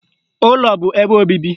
Ụlọ bụ ebe obibi